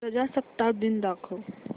प्रजासत्ताक दिन दाखव